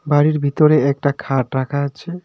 বাড়ির ভিতরে একটা খাট রাখা আছে.